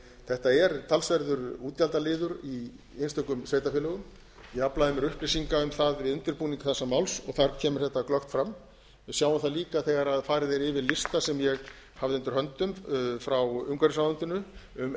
þetta er talsverður útgjaldaliður í einstökum sveitarfélögum ég aflaði mér upplýsinga um það við undirbúning þessa máls og þar kemur þetta glöggt fram við sjáum það líka þegar farið er yfir lista sem ég hafði undir höndum frá umhverfisráðuneytinu um